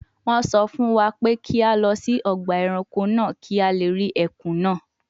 Wọ́n sọ fún wa pé kí a lọ sí ọgbà ẹranko náà kí a lè rí ẹkùn náà